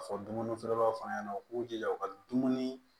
Ka fɔ dumuni feerelaw fana ɲɛna u k'u jija u ka dumuni